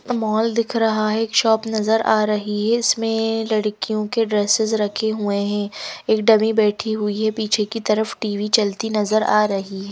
Mall दिख रहा है एक शॉप नजर आ रही है इसमें लड़कियों के ड्रेसेस रखे हुए हैं एक डमी बैठी हुई है पीछे की तरफ टी_वी चलती नजर आ रही।